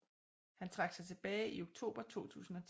Han trak sig tilbage i oktober 2010